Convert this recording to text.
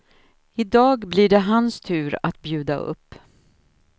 I dag blir det hans tur att bjuda upp.